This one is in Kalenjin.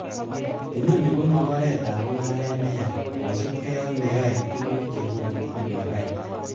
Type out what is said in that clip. Inoni komo oretab mungaret neya kosiibge ak neoyoe tuguk chekonu anyor baita.